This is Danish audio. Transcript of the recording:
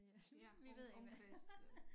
Øh vi ved ikke